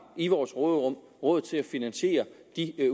i vores råderum råd til at finansiere de